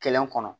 Kɛlɛ kɔnɔ